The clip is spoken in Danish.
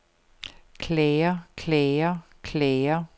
klager klager klager